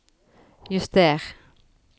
juster